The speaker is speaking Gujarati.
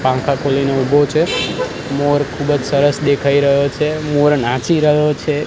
પાંખા ખોલીને ઊભો છે મોર ખુબજ સરસ દેખાઈ રહ્યો છે મોર નાચી રહ્યો છે.